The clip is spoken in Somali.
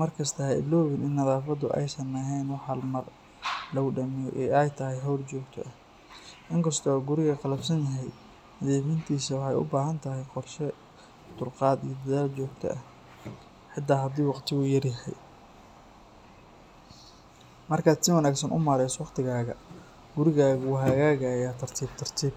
Markasta ha iloobin in nadaafaddu aysan ahayn wax hal mar lagu dhammeeyo ee ay tahay hawl joogto ah. In kasta oo guriga qalafsan yahay, nadiifintiisa waxay u baahan tahay qorshe, dulqaad iyo dadaal joogto ah, xitaa haddii waqtigu yar yahay. Marka aad si wanaagsan u maareyso waqtigaaga, gurigaagu wuu hagaagayaa tartiib tartiib.